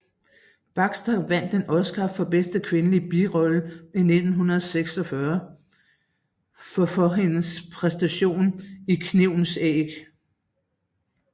Baxter vandt en Oscar for bedste kvindelige birolle i 1946 for for hendes præstation i Knivens æg